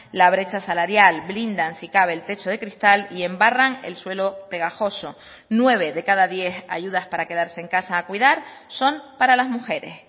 la brecha salarial blindan si cabe el techo de cristal y embarran el suelo pegajoso nueve de cada diez ayudas para quedarse en casa a cuidar son para las mujeres